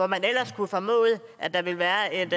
man ellers kunne formode at der ville være en